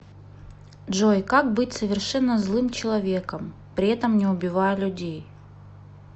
джой как быть совершенно злым человеком при этом не убивая людей